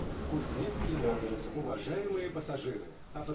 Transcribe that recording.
recurring sporting events